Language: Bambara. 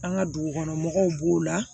An ka dugukɔnɔmɔgɔw b'o la